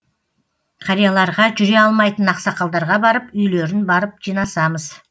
қарияларға жүре алмайтын ақсақалдарға барып үйлерін барып жинасамыз